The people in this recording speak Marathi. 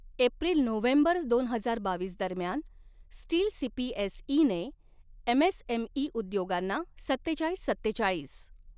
एप्रिल नोव्हेंबर दोन हजार बावीस दरम्यान, steel C P S E ने एमएसएमई उद्योगांना सत्तेचाळीस सत्तेचाळीस.